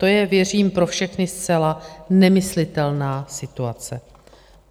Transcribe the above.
To je, věřím, pro všechny zcela nemyslitelná situace.